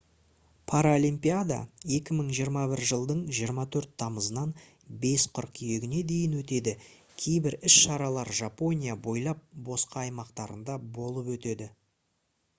паралимпиада 2021 жылдың 24 тамызынан 5 қыркүйегіне дейін өтеді кейбір іс шаралар жапония бойлап басқа аймақтарында болып өтеді